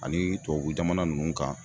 Ani tubabu jamana ninnu kan